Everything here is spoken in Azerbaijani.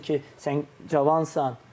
Hansı ki, sən cavansan.